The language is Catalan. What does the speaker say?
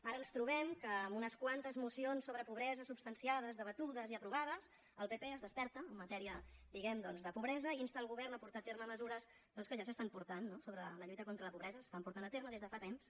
ara ens trobem que en unes quantes mocions sobre pobresa substanciades debatudes i aprovades el pp es desperta en matèria diguem ne doncs de pobresa i insta el govern a portar a terme mesures que ja s’estan portant no sobre la lluita contra la pobresa s’estan por tant a terme des de fa temps